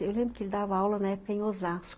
Eu lembro que ele dava aula na época em Osasco.